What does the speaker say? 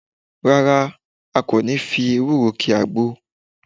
Rárá, a kò ní fi ewúro ki àgbo